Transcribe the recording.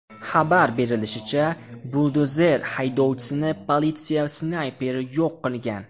Xabar berilishicha, buldozer haydovchisini politsiya snayperi yo‘q qilgan.